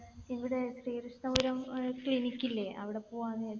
ഇവിടെ Sreekrishnapuram ear clinic ഇല്ലേ. അവിടെ പോവാന്ന് വിചാരിച്ചു.